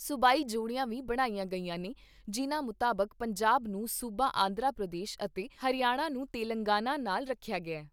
ਸੂਬਾਈ ਜੋੜੀਆਂ ਵੀ ਬਣਾਈਆਂ ਗਈਆਂ ਨੇ ਜਿਨ੍ਹਾਂ ਮੁਤਾਬਕ ਪੰਜਾਬ ਨੂੰ ਸੂਬਾ ਆਂਧਰਾ ਪ੍ਰਦੇਸ਼ ਅਤੇ ਹਰਿਆਣਾ ਨੂੰ ਤੇਲੰਗਾਨਾ ਨਾਲ਼ ਰੱਖਿਆ ਗਿਆ।